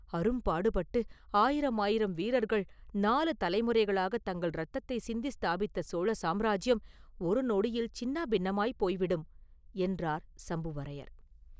அரும்பாடுபட்டு, ஆயிரமாயிரம் வீரர்கள் நாலு தலைமுறைகளாகத் தங்கள் இரத்தத்தை சிந்தி ஸ்தாபித்த சோழ சாம்ராஜ்யம் ஒரு நொடியில் சின்னாபின்னமாய்ப் போய் விடும்” என்றார் சம்புவரையர்.